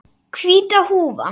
Hvíta húfan.